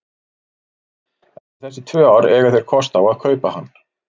Eftir þessi tvö ár eiga þeir kost á að kaupa hann.